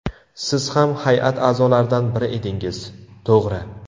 Siz ham hay’at a’zolaridan biri edingiz... To‘g‘ri.